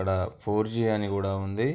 ఇక్కడ ఫోర్-జి అని కూడా ఉంది.